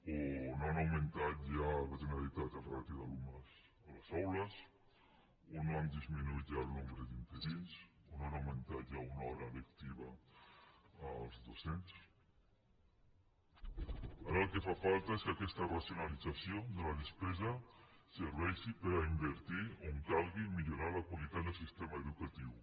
o no ha augmentat ja la generalitat la ràtio d’alumnes a les aules o no ha disminuït ja el nombre d’interins o no ha augmentat ja una hora lectiva als docents ara el que fa falta és que aquesta racionalització de la despesa serveixi per a invertir on calgui millorar la qualitat del sistema educatiu